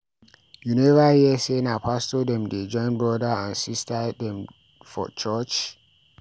You neva hear sey na pastor dem dey join broda and sista dem for church?